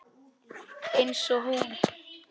Einsog hún.